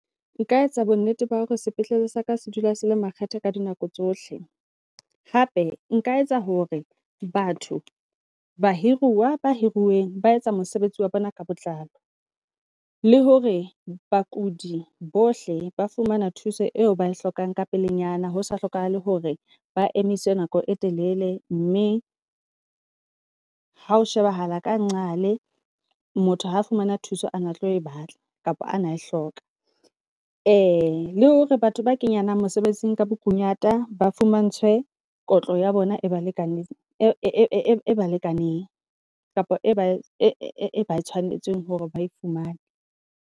Nka etsa bo nnete ba hore sepetlele saka se dula se le makgetha ka dinako tsohle. Hape nka etsa hore batho bahiruwa ba hiruweng ba etsa mosebetsi wa bona ka botlalo, le hore bakudi bohle ba fumana thuso eo bae hlokang ka pelenyana hosa hlokahale hore ba emise nako e telele. Mme ha o shebahala ka ngqale motho ha fumana thuso a na tlo e batla, kapa ana e hloka. Le hore batho ba kenyanang mosebetsing ka bokunyata ba fumantshwe kotlo ya bona e balekane e balekaneng kapa ba e ba tshwanetseng hore ba e fumane.